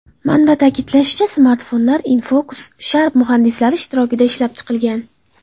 Manba ta’kidlashicha, smartfonlar InFocus/Sharp muhandislari ishtirokida ishlab chiqilgan.